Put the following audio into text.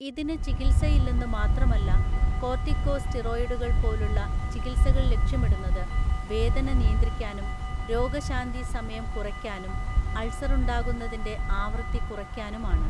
ഇതിനു ചികിത്സയില്ലെന്നു മാത്രമല്ല, കോർട്ടികോ സ്റ്റീറോയിഡുകൾ പോലുള്ള ചികിത്സകൾ ലക്ഷ്യമിടുന്നത് വേദന നിയന്ത്രിക്കാനും, രോഗശാന്തി സമയം കുറയ്ക്കാനും, അൾസറുണ്ടാകുന്നതിന്റെ ആവൃത്തി കുറയ്ക്കാനും ആണ്.